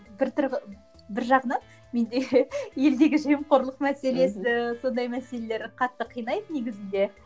бір бір жағынан менде елдегі жемқорлық мәселесі сондай мәселелер қатты қинайды негізінде